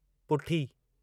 पुठी